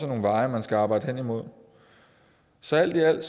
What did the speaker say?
nogle veje man skal arbejde hen imod så alt i alt